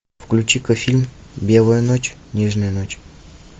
включи ка фильм белая ночь нежная ночь